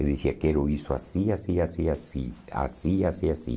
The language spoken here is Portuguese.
Eu dizia, quero isso assim, assim, assim, assim, assim, assim, assim.